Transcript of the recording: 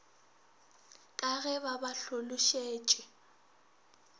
ka ge ba ba hlološetše